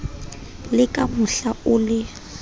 le ka mohla o le